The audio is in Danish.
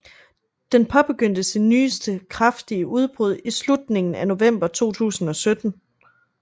Den påbegyndte sit nyeste kraftige udbrud i slutningen af november 2017